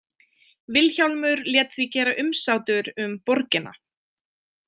Vilhjálmur lét því gera umsátur um borgina.